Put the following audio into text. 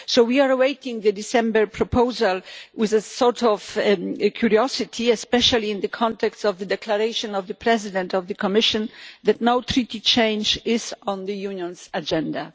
So we are awaiting the December proposal with a sort of curiosity, especially in the context of the declaration of the President of the Commission that no Treaty change is on the Union's agenda.